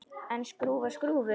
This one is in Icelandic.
En skrúfa skrúfu?